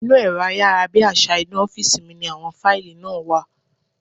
Inú ẹ̀rọ ayárabíàṣá inú ọ́fìsì mi ní àwọn fáìlì náà wà